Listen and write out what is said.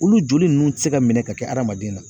Olu joli ninnu tɛ se ka minɛ ka kɛ hadamaden na.